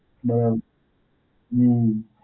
બરાબર, હમ્મ.